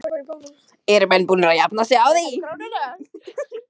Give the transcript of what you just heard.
Eru menn búnir að jafna sig á því?